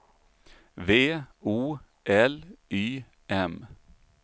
V O L Y M